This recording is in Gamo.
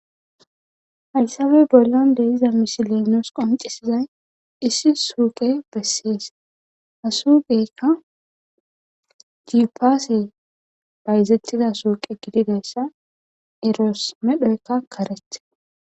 hasabe bollon de'iza mishilenoos qoncisizay issi suuqe besseese hasuugeykka giupaase bayzettida suuqe gididayssa eroos medhoykka karete